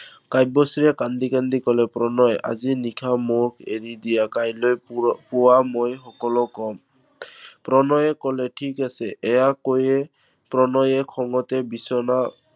কাব্যশ্ৰীয়ে কান্দি কান্দি কলে, প্ৰণয় আজি নিশা মোক এৰি দিয়া। কাইলৈ পুৱা মই সকলো কম। প্ৰণয়ে কলে, ঠিক আছে, এইয়া কৈয়ে প্ৰণয়ে খঙতে বিছনা